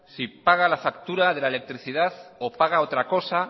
si paga la factura de la electricidad o paga otra cosa